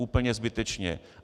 Úplně zbytečně.